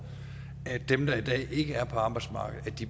at dem der i dag ikke er på arbejdsmarkedet